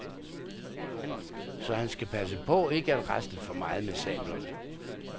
Så han skal passe på ikke at rasle for meget med sablerne.